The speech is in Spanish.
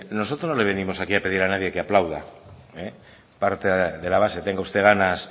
nosotros no le venimos aquí a pedir a nadie que aplauda aparte de la base que tenga usted ganas